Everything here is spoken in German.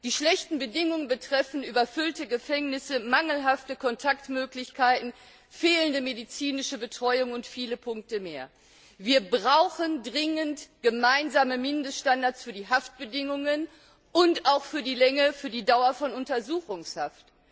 Die schlechten Bedingungen betreffen überfüllte Gefängnisse, mangelhafte Kontaktmöglichkeiten, fehlende medizinische Betreuung und viele Punkte mehr. Wir brauchen dringend gemeinsame Mindeststandards für die Haftbedingungen und auch für die Dauer von Untersuchungshaft.